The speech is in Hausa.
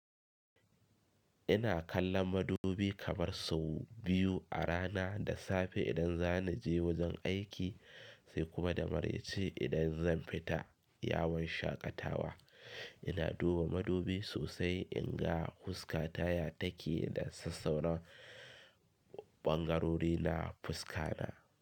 Ina kallon madubi kamar sau biyu a rana, da safe idan zana je wajen aiki sai kuma da mareci idan zan fita yawon shaƙatawa. Ina duba madubi sosai in ga fuskata ya take da sassauran ɓangarori na fuska na.